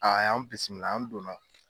A y'an bisimila an donna.